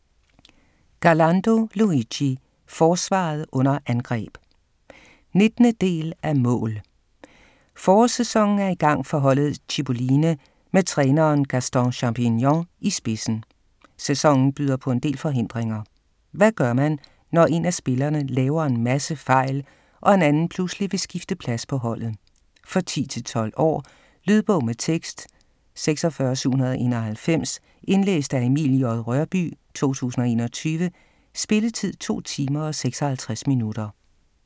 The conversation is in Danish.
Garlando, Luigi: Forsvaret under angreb! 19. del af Mål!. Forårssæsonen er i gang for holdet Cipolline med træneren Gaston Champignon i spidsen. Sæsonen byder på en del forhindringer. Hvad gør man, når en af spillerne laver en masse fejl, og en anden pludselig vil skifte plads på holdet? For 10-12 år. Lydbog med tekst 46791 Indlæst af Emil J. Rørbye, 2021. Spilletid: 2 timer, 56 minutter.